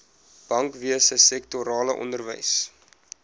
bankwese sektorale onderwys